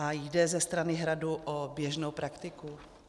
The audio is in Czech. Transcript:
A jde ze strany Hradu o běžnou praktiku?